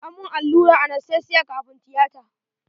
An mun allurar anastesiya kafun tiyata.